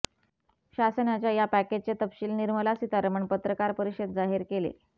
शासनाच्या या पॅकेजचे तपशील निर्मला सीतारामन पत्रकार परिषदेत जाहीर केले